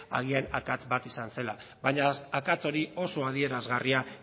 agian akats bat izan zela baina akats hori oso adierazgarria